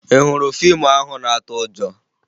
Ị hụrụ fiimu ahụ na-atụ ụjọ?